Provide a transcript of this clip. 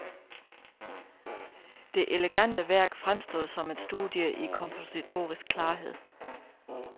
Det elegante værk fremstod som et studie i kompositorisk klarhed.